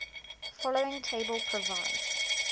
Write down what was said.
following table provides